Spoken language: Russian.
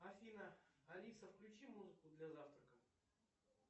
афина алиса включи музыку для завтрака